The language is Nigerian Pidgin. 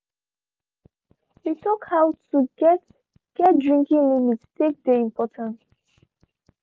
we talk how to get get drinking limit take dey important